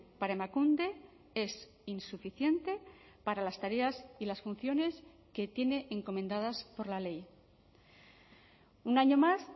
para emakunde es insuficiente para las tareas y las funciones que tiene encomendadas por la ley un año más